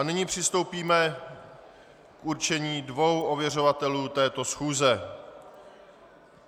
A nyní přistoupíme k určení dvou ověřovatelů této schůze.